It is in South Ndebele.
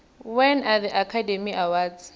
when are the academy awards